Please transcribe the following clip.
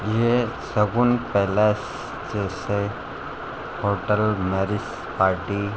ये शगुन पैलेस जैसे hotel marriage party.